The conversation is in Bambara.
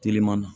Teliman na